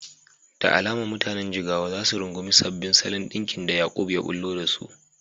Da alama mutanen Jigawa za su rungumi sabbin salon ɗinkin da Yaqub ya ɓullo da su.